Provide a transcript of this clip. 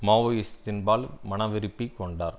மாவோயிஸ்த்தின்பால் மனவிருப்புக் கொண்டார்